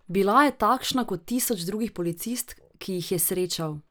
Bila je takšna kot tisoč drugih policistk, ki jih je srečal.